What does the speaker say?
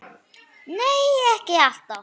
Nei, ekki alltaf.